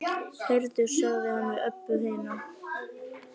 Heyrðu, sagði hann við Öbbu hina.